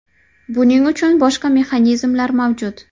Buning uchun boshqa mexanizmlar mavjud.